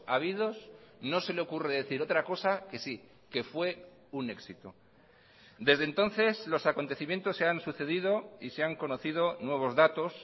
habidos no se le ocurre decir otra cosa que sí que fue un éxito desde entonces los acontecimientos se han sucedido y se han conocido nuevos datos